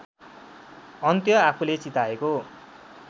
अन्त्य आफूले चिताएको